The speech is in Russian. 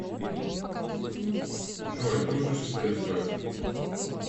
джой дружишь с фсб